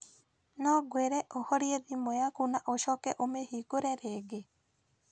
No ngwĩre ũhorie thimũ yaku na ũcoke ũmĩhingũre rĩngĩ?